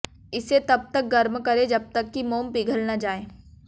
इसे तब तक गर्म करें जब तक कि मोम पिघल न जाए